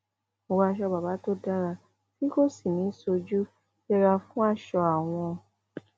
wọ aṣọ bàbà tó dára tí kò sì ní í sojú yẹra fún aṣọ àwọn